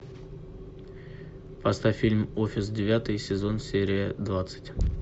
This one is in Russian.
поставь фильм офис девятый сезон серия двадцать